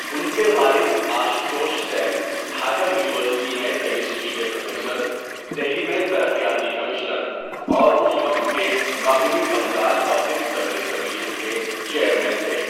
ان کے والد آشوتوش سین ڈھاکہ یونیورسٹی میں کیمسٹری کے پروفیسر، دہلی میں ترقیاتی کمشنر اور اُس وقت کے مغربی بنگال پبلک سروس کمیشن کے چیئرمین تھے۔